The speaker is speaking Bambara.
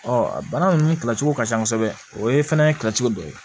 a bana ninnu kilacogo ka ca kosɛbɛ o ye fɛnɛ ye kilacogo dɔ ye